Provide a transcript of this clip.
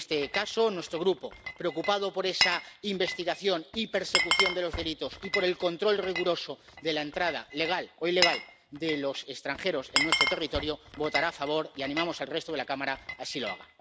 En este caso, nuestro grupo, preocupado por esa investigación y persecución de los delitos y por el control riguroso de la entrada legal o ilegal de los extranjeros en nuestro territorio, votará a favor, y animamos al resto de la Cámara a que así lo haga.